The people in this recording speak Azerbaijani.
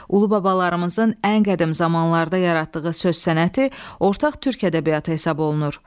Ulubabalarımızın ən qədim zamanlarda yaratdığı söz sənəti ortaq türk ədəbiyyatı hesab olunur.